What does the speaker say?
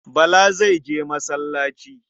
Bala zai je masallaci.